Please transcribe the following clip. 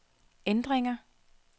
ændringer